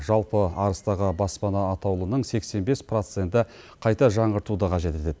жалпы арыстағы баспана атаулының сексен бес проценті қайта жаңғыртуды қажет етеді